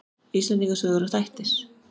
Íslendinga sögur og þættir.